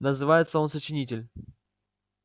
называется он сочинитель